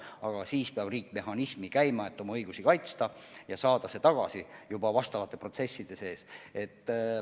Aga siis paneb riik käima teatava mehhanismi, et oma õigusi kaitsta ja saada see tagasi juba vastavate protsesside raames.